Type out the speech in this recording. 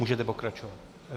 Můžete pokračovat.